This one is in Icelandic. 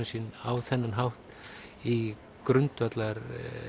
sinn á þennan hátt í